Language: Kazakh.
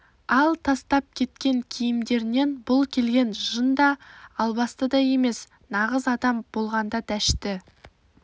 ал тастап кеткен киімдерінен бұл келген жын да албасты да емес нағыз адам адам болғанда дәшті